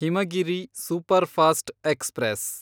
Himagiri superfast express